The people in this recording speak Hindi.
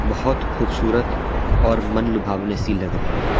बहुत खूबसूरत और मन लुभावने सी लग रही है।